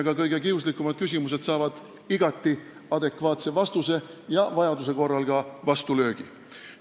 Ka kõige kiuslikumad küsimused saavad igati adekvaatse vastuse ja vajaduse korral vastulöögi.